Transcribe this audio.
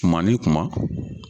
Kuma ni kuma.